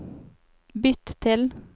bytt til